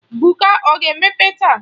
Buka ọ ga-emepe taa?